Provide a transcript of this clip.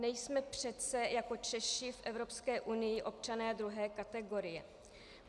Nejsme přece jako Češi v Evropské unii občané druhé kategorie.